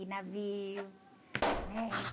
De navio, né?